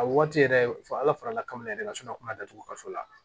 A waati yɛrɛ fɔ ala farala kan yɛrɛ de ka sɔrɔ a kuma datugulanso la